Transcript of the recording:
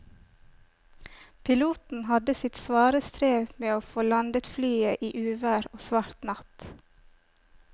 Piloten hadde sitt svare strev med å få landet flyet i uvær og svart natt.